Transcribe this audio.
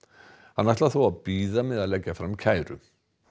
hann ætlar þó að bíða með að leggja fram kæru